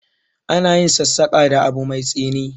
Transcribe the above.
Ana yin sassaƙa da abu mai tsini.